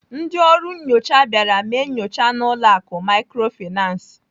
Ndị ọrụ nnyocha bịara mee nyocha n'ụlọ akụ Microfinance.